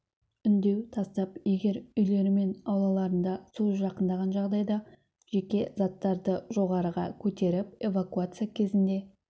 үндеу тастап егер үйлері мен аулаларына су жақындаған жағдайда жеке заттарды жоғарыға көтеріп эвакуация кезінде